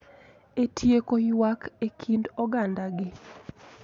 E tieko ywak e kind ogandagi